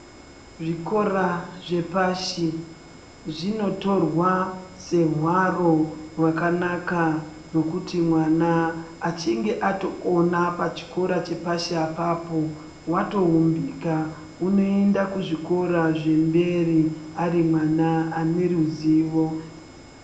Zvikora zvepashi zvinotorwa sehwaro hwakanaka nekuti mwana achinge atokona pachikora chepashi apapo watoumbika unoenda kuzvikora zvemberi ari mwana ane ruzivo.